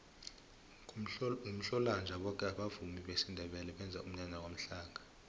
ngomhlolanja boke abavumi besindebele benza umnyanya kwamhlanga